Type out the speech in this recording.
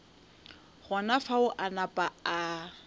gona fao a napa a